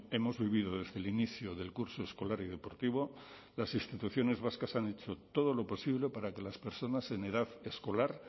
hemos vivido desde el inicio del curso escolar y deportivo las instituciones vascas han hecho todo lo posible para que las personas en edad escolar